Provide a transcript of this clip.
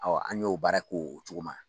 Awɔ an y'o baara ko o cogo ma.